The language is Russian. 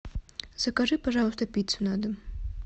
закажи пожалуйста пиццу на дом